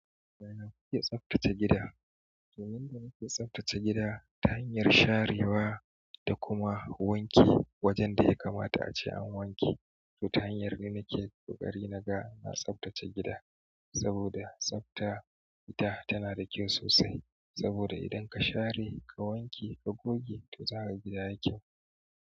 Yaya kuke tsaftace gida? To yanda nake tsaftace gida ta hanyar sharewa da kuma wanki wajen da ya kamata ace an wanke. To ta hanyar ne nake ƙoƙari naga na tsaftace gida. Saboda tsafta ita tana da kyau sosai saboda idan ka share, ka wanke, ka goge to za ka ga gida ya yi kyau.